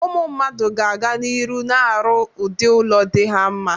Ụmụ mmadụ ga-aga n'iru na-arụ udị ụlọ dị ha mma.